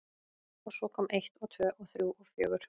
Og svo kom eitt og tvö og þrjú og fjögur.